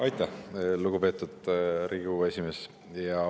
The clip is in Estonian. Aitäh, lugupeetud Riigikogu esimees!